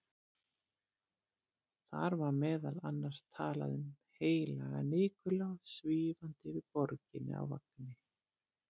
Þar var meðal annars talað um heilagan Nikulás svífandi yfir borginni á vagni.